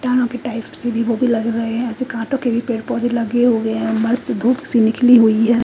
तारो के टाइप्स के भी पेड़ पोधे लगे हुए है मस्ट धुप सी निकली हुई है।